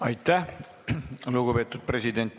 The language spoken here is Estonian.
Aitäh, lugupeetud Eesti Panga president!